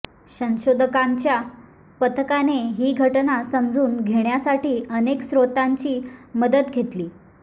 संशोधकांच्या पथकाने ही घटना समजून घेण्यासाठी अनेक स्रोतांची मदत घेतली